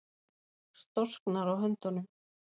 Storknar á höndunum.